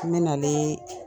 N bɛ nalee